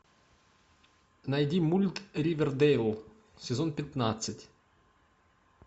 найди мульт ривердэйл сезон пятнадцать